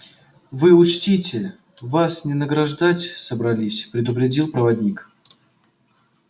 вы учтите вас не награждать собрались предупредил проводник